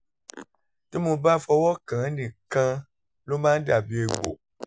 tí mo bá fọwọ́ kàn án nìkan ló máa ń dàbí egbò